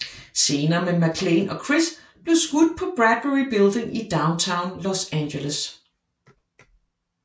Scener med MacLaine og Criss blev skudt på Bradbury Building i downtown Los Angeles